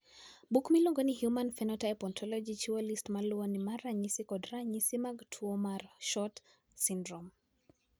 Buk miluongo ni Human Phenotype Ontology chiwo list ma luwoni mar ranyisi kod ranyisi mag tuo mar SHORT syndrome.